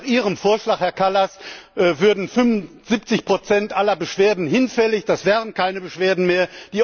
Denn nach Ihrem Vorschlag, Herr Kallas, würden 75 aller Beschwerden hinfällig, das wären keine Beschwerden mehr.